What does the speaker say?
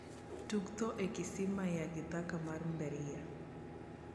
tug tho e kisima ya kithaka mar mberia